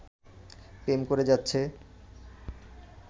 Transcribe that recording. প্রেম করে যাচ্ছে